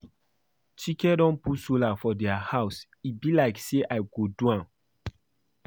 Chike don put solar for their house e be like say I go do am